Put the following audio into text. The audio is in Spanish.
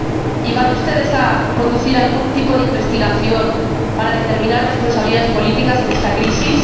¿Y van ustedes a conducir algún tipo de investigación para determinar responsabilidades políticas en esta crisis?